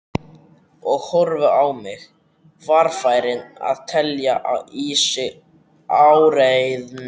Og horfði á mig, varfærin að telja í sig áræðni.